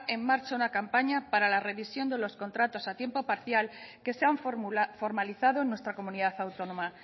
marcha una campaña para la revisión de los contratos a tiempo parcial que se han formalizado en nuestra comunidad autónoma